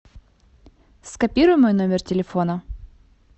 скопируй мой номер телефона